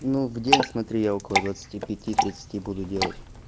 ну где он смотри я около двадцати пяти тридцати буду делать